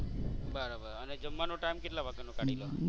બરોબર અને જમવાનો Time કેટલા વાગ્યાનો કાઢી લો?